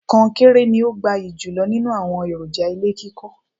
Kọnkéré ni ó gbayì jùlọ nínú àwọn èròjà ilé kíkọ́.